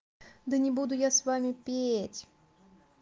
да не буду я с вами петь